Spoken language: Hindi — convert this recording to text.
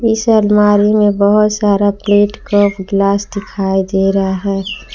इस अलमारी में बहोत सारा प्लेट कप ग्लास दिखाई दे रहा है।